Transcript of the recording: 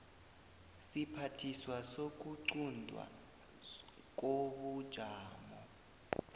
siphathiswa sokuquntwa kobujamo